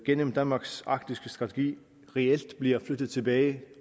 gennem danmarks arktiske strategi reelt bliver flyttet tilbage